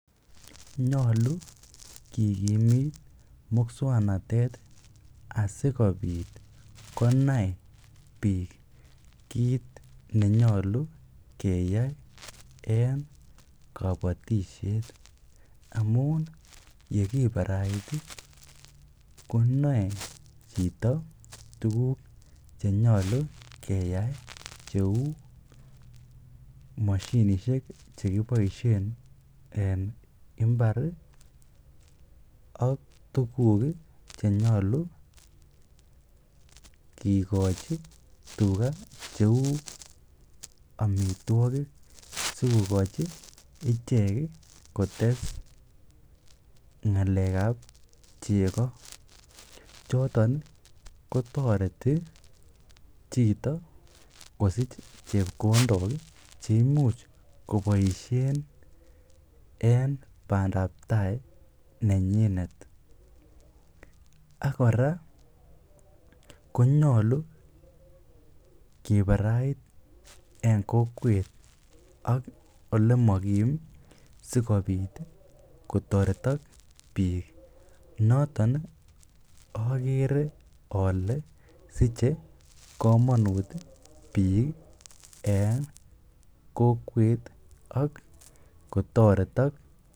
Nyolu kigimit muswoknatet asikobit konai biik kit nenyolu keyai en kobotisiet amun ye kibarait konoe chito tuguk che nyolu keyai cheu moshinisiek che kiboisien en mbar ak tuguk che nyolu kigochi tuga cheu amitwogik sikogochi ichek kotes ng'alekab chego choton kotoreti chito kosich chepkondok che imuch koboisien en bandap tai nenyinet. Ak kora konyolu kibarait en kokwet ak ole mo kim sikobit kotoretok biik noton ogere ole siche komonut biiik en kokwet ak kotoretok.